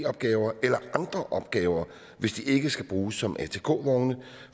opgaver eller andre opgaver hvis de ikke skal bruges som atk vogne